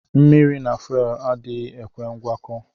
Mmiri na fuelu adighi ekwe ngwakọ.